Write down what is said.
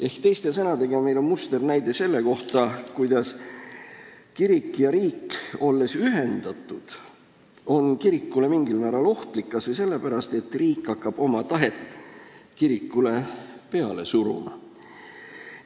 Ehk teiste sõnadega, meil on musternäide selle kohta, kuidas kirik ja riik, olles ühendatud, on kirikule mingil määral ohtlik, kas või sellepärast, et riik hakkab oma tahet kirikule peale suruma.